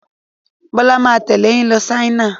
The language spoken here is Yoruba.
Bọ́lá máa tẹ̀lé yín lọ China.